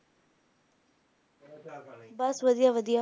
ਬੱਸ ਵਧੀਆ ਵਧੀਆ